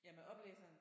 Ja med oplæseren?